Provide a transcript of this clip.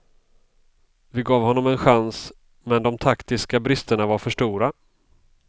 Vi gav honom en chans men de taktiska bristerna var för stora.